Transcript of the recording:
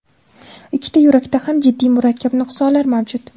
Ikkita yurakda ham jiddiy, murakkab nuqsonlar mavjud.